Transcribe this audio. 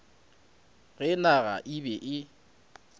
ge naga e be e